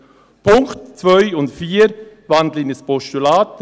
Die Punkte 2 und 4 wandle ich in ein Postulat.